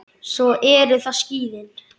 Svo eru það skíðin.